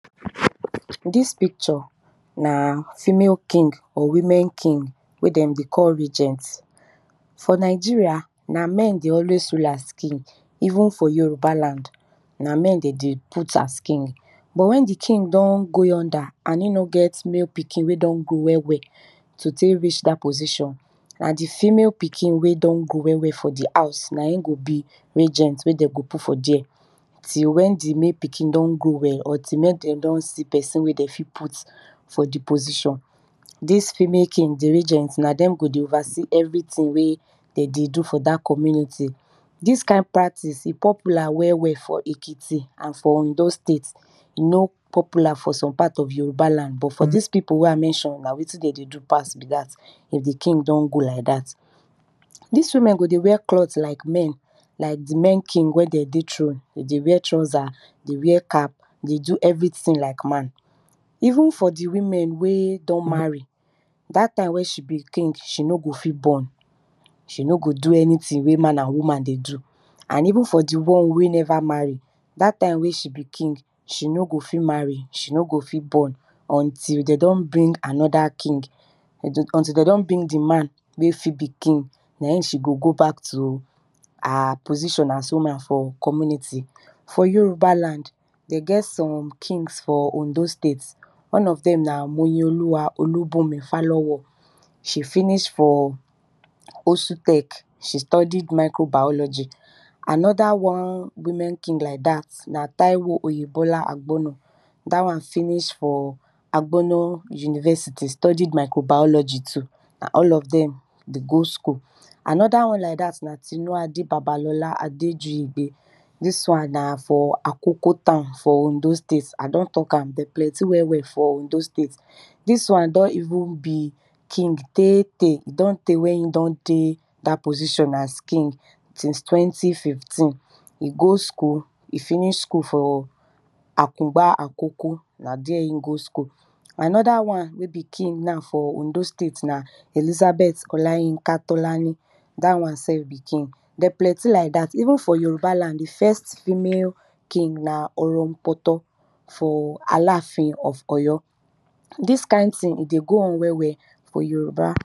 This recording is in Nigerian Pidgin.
Dis picture na female king or women king wey den dey call regent. For Nigeria, na men dey always rule as king, even for Yoruba land, na men de dey alwys put as king. But wen di king don go older and e no get male pikin wey don grow well well to tek reach dat position, na di female pikin wey don grow well well for di house na in go be rejent wey dey go put for there till wen di male pikin don grow well or till wen de don see pesin wey de fit put for di position. Dis female king di regent na dem go dey everything wey de dey do for dat community. Dis kind practive e popular well well for Ekiti and for ondo state. E no popular for some part of Yoruba land na wetin de dey do be dat. If di king don go like dat. Dis women go dey wear cloth like men like men king wen de dey throne e dey wear trouser e dey wear cap, dey do everything like man. Even for women wey don marry, dat time wey she be king, she no go fit born, she no go do anything wey man and woman go do, and even for di won wey neva marry, dat time wey she be king, she no go fit marry, se no go fit born until de don bring anoda king until de don bring di man wey go be king den she go go back to her position as woman for community. For Yoruba land de get some k ngs for ondo state, one of dem na moyioluwa olubumi flowon she finish for OSUtech, she study microbiology. Anoda one women king like dat na taiwo oyebola Agbono dat won finish for Agbona university studied microbiology too. All of dem dey go school. Anoda won na tinuade babalola adejinpe, dis wan na for akoko town for ondo state I don talk am dem plenty well well for ondo state. Dis wan don even be king tey tey e don tey wen e don dey dat position as king ssince twnty fifteen. E go school, e finish school for akungba akoko. Anoda won wey be king na for ondo state na Elizabeth olayinka tolani dat won self be king. Dem plenty like dat ven for Yoruba land di first female king na orompoto for alaafin of oy o. Dis kind thing e dey go on well well for yoruba.